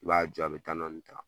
N b'a jɔ a bi dɔɔnin ta